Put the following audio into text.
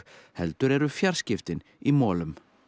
heldur eru fjarskiptin í molum